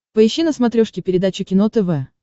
поищи на смотрешке передачу кино тв